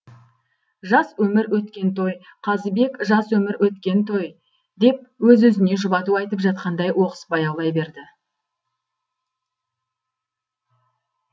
жас өмір өткен той қазыбек жас өмір өткен той деп өз өзіне жұбату айтып жатқандай оқыс баяулай берді